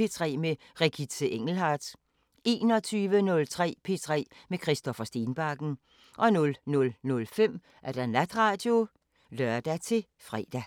P3 med Regitze Engelhardt 21:03: P3 med Christoffer Stenbakken 00:05: Natradio (lør-fre)